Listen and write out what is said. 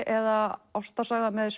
eða ástarsaga með